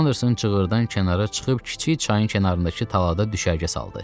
Anderson çığırdan kənara çıxıb kiçik çayın kənarındakı talada düşərgə saldı.